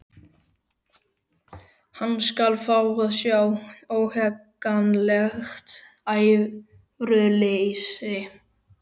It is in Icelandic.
Hann skal fá að sjá óhagganlegt æðruleysi!